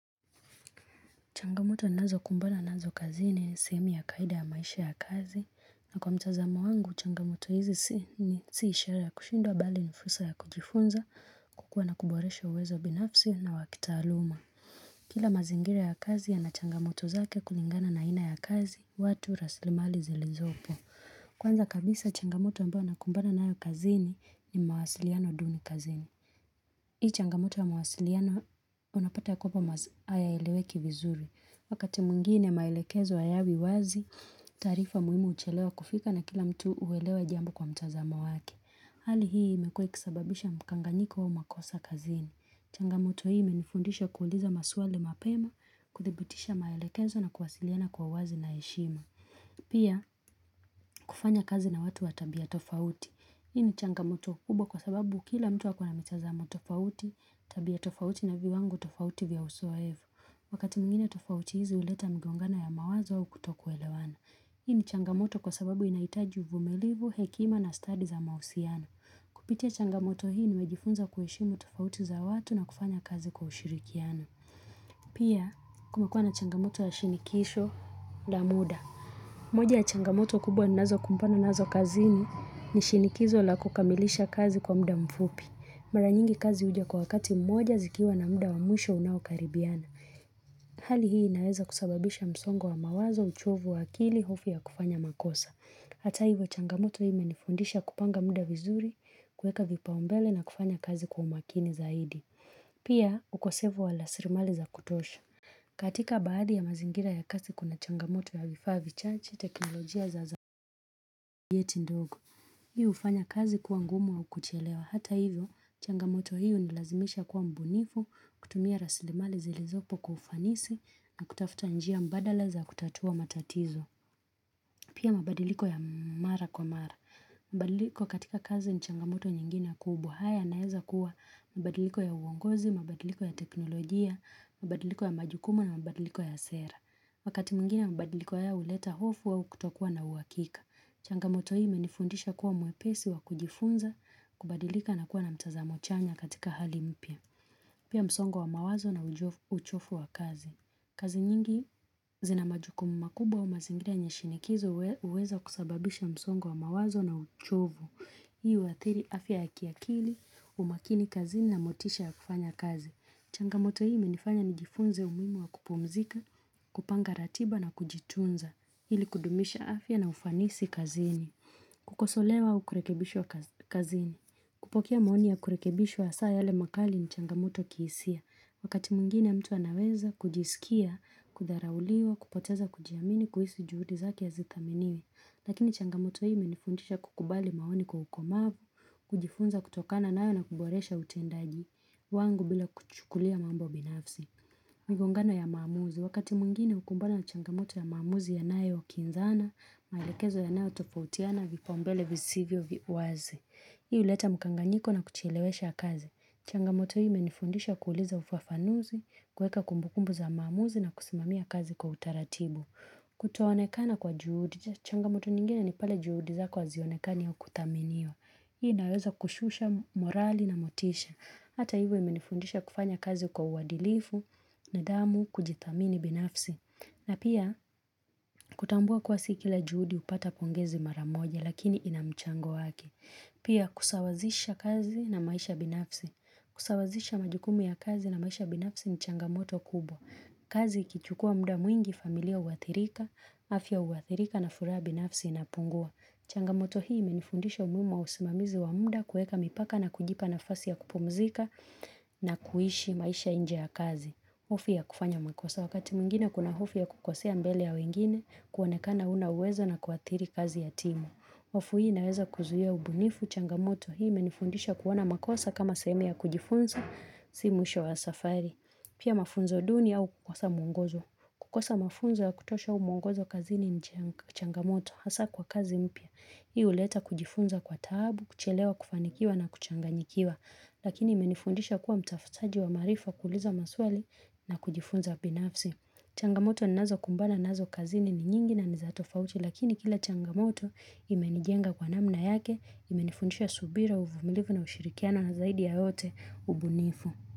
Changamoto ninazokumbana nazo kazini, ni sehemu ya kawaida ya maisha ya kazi, na kwa mtazamo wangu, changamoto hizi si ishara kushindwa bali ni fursa ya kujifunza, kukua na kuboresha uwezo binafsi na wakitaaluma. Kila mazingira ya kazi yana changamoto zake kulingana na aina ya kazi, watu rasilimali zilizopo. Kwanza kabisa, changamoto ambayo nakumbana nayo kazini ni mawasiliano duni kazini. Hii changamoto ya mawasiliana unapata kuwa mawasiliano hayeleweki vizuri. Wakati mwingine maelekezo hayawi wazi, taarifa muhimu huchelewa kufika na kila mtu huelewa jambo kwa mtazamo waki. Hali hii imekuwa ikisababisha mkanganyiko au makosa kazini. Changamoto hii imenifundisha kuuliza maswali mapema, kuthibitisha maelekezo na kuwasiliana kwa wazi na heshima. Pia, kufanya kazi na watu wa tabia tofauti. Hii ni changamoto kubwa kwa sababu kila mtu ako na mtazamo tofauti, tabia tofauti na viwango tofauti vya uzoefu. Wakati mwingine tofauti hizi huleta mgongano ya mawazo au kutokuelewana. Hii ni changamoto kwa sababu inahitaji uvumilivu, hekima na study za mahusiano Kupitia changamoto hii nimejifunza kuheshimu tofauti za watu na kufanya kazi kwa ushirikiano. Pia kumekuwa na changamoto ya shinikisho na muda. Moja ya changamoto kubwa ninazo kumbana nazo kazini ni shinikizo la kukamilisha kazi kwa muda mfupi. Mara nyingi kazi huja kwa wakati mmoja zikiwa na muda wa mwisho unaokaribiana. Hali hii inaweza kusababisha msongo wa mawazo uchovu wa akili hofu ya kufanya makosa. Hata hivyo changamoto hii imenifundisha kupanga muda vizuri, kueka vipaombele na kufanya kazi kwa umakini zaidi. Pia ukosefu wa rasilimali za kutosha. Katika baadhi ya mazingira ya kazi kuna changamoto ya vifaa vichache teknolojia za yeti ndogo. Hiu hufanya kazi kuwa ngumu au kuchelewa. Hata hivyo changamoto hii hunilazimisha kuwa mbunifu, kutumia rasilimali zilizopo kwa ufanisi na kutafuta njia mbadala za kutatua matatizo. Pia mabadiliko ya mara kwa mara. Mabadiliko katika kazi ni changamoto nyingine kubwa haya yanaeza kuwa mabadiliko ya uongozi, mabadiliko ya teknolojia, mabadiliko ya majukumu na mabadiliko ya sera. Wakati mwingine mabadiliko haya uleta hofu au kutokua na uhakika. Changamoto hii imenifundisha kuwa mwepesi wa kujifunza kubadilika na kuwa na mtazamo chanya katika hali mpya. Pia msongo wa mawazo na uchovu wa kazi. Kazi nyingi zina majukumu makubwa au mazingira yenye shinikizo huweza kusababisha msongo wa mawazo na uchovu. Hii huathiri afya ya kiakili, umakini kazini na motisha ya kufanya kazi. Changamoto hii imenifanya nijifunze umuhimu wa kupumzika, kupanga ratiba na kujitunza. Ili kudumisha afya na ufanisi kazini. Kukosolewa au kurekebishwa kazini. Kazini, kupokea maoni ya kurekebishwa hasa yale makali ni changamoto kisia. Wakati mwingine ya mtu anaweza kujisikia, kudharauliwa, kupoteza kujiamini, kuhisi juhudi zake hazithaminiwi. Lakini changamoto hii imenifundisha kukubali maoni kwa ukomavu, kujifunza kutokana nayo na kuboresha utendaji wangu bila kuchukulia mambo binafsi. Migongano ya maamuzi, wakati mwingine hukumbana na changamoto ya maamuzi yanayokinzana, maelekezo yanayotofautiana, vipaombele, visivyo, visivyo, wazi. Hii huleta mkanganyiko na kuchelewesha kazi. Changamoto hii imenifundisha kuuliza ufafanuzi, kuweka kumbukumbu za maamuzi na kusimamia kazi kwa utaratibu. Kutoonekana kwa juhudi, changamoto nyingine ni pale juhudi zako hazionekani au kuthaminiwa. Hii inaweza kushusha morali na motisha. Hata hivyo imenifundisha kufanya kazi kwa uwadilifu nidhamu kujithamini binafsi. Na pia kutambua kuwa si kila juhudi hupata pongezi mara moja lakini ina mchango wake. Pia kusawazisha kazi na maisha binafsi. Kusawazisha majukumu ya kazi na maisha binafsi ni changamoto kubwa. Kazi ikichukua muda mwingi familia huathirika, afya huathirika na furaha binafsi inapungua. Changamoto hii imenifundisha umuhimu wa usimamizi wa muda kueka mipaka na kujipa nafasi ya kupumzika na kuishi maisha nje ya kazi. Hofu ya kufanya makosa wakati mwingine kuna hofu ya kukosea mbele ya wengine kuonekana huna uwezo na kuathiri kazi ya timu. Hofu hii inaweza kuzuia ubunifu changamoto hii imenifundisha kuona makosa kama sehemu ya kujifunza, si mwisho wa safari. Pia mafunzo duni au kukosa mwongozo. Kukosa mafunzo ya kutosha au mwongozo kazini ni changamoto hasa kwa kazi mpya. Hii huleta kujifunza kwa tabu, kuchelewa kufanikiwa na kuchanganyikiwa. Lakini imenifundisha kuwa mtafutaji wa maarifa kuuliza maswali na kujifunza binafsi. Changamoto ninaazo kumbana nazo kazini ni nyingi na ni za tofauti lakini kila changamoto imenijenga kwa namna yake, imenifundisha subira, uvumilivu na ushirikiano na zaidi ya yote ubunifu.